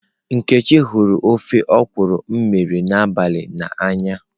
Nkechi huru ofe okwụrụ m mere n'abali na anya.